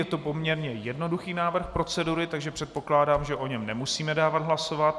Je to poměrně jednoduchý návrh procedury, takže předpokládám, že o něm nemusíme dávat hlasovat.